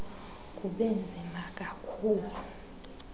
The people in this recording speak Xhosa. kube nzima kakhulu